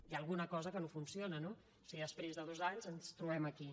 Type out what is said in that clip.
hi ha alguna cosa que no funciona no si després de dos anys ens trobem aquí